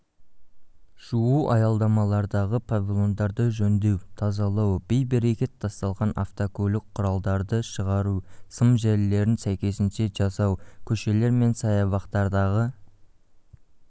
жуу аялдамалардағы павильондарды жөндеу тазалау бей-берекет тасталған автокөлік құралдарды шығару сым желілерін сәйкесінше жасау көшелерменсаябақтардағы